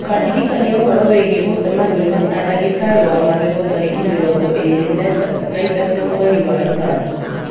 ũkandirikania ũhoro wĩgiĩ mũcemanio na ndagĩtarĩ wa magego tarĩki mĩrongo ĩrĩ na ithatũ mwerĩ wa ĩtano